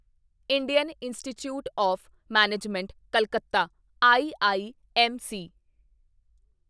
Indian institute of management Calcutta IIMC